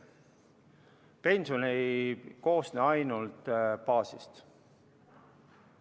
Pension ei koosne ainult baasosast.